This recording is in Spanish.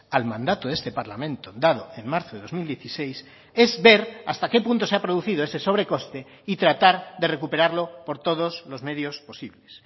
al mandato de este parlamento dado en marzo de dos mil dieciséis es ver hasta qué punto se ha producido ese sobrecoste y tratar de recuperarlo por todos los medios posibles